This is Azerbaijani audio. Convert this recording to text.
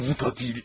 Bu da deyil.